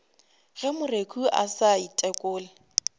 ge moreku a sa ithekole